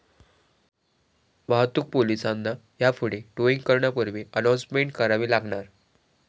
वाहतूक पोलिसांना यापुढे 'टोईंग' करण्यापूर्वी अनाउन्समेंट करावी लागणार